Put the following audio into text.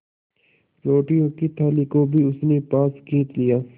रोटियों की थाली को भी उसने पास खींच लिया